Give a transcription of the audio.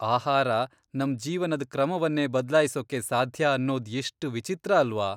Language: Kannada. ಆಹಾರ ನಮ್ ಜೀವನದ್ ಕ್ರಮವನ್ನೇ ಬದ್ಲಾಯಿಸೊಕ್ಕೆ ಸಾಧ್ಯ ಅನ್ನೊದ್ ಎಷ್ಟ್ ವಿಚಿತ್ರ ಅಲ್ವಾ.